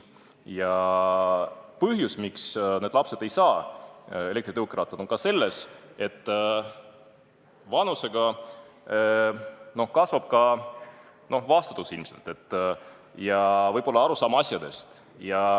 Ja põhjus, miks need lapsed ei saa elektritõukerattaid, on selles, et vanusega kasvab ilmselt ka vastutus ja arusaam asjadest.